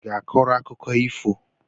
I ga-akọrọ akụkọ ifo?